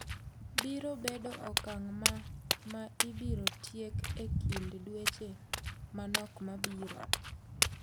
"Biro bedo okang' ma ma ibiro tiek ekind dweche manok mabiro.